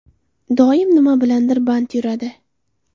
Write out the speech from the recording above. Doim nima bilandir band yuradi.